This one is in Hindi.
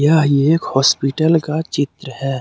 यह एक हॉस्पिटल का चित्र है।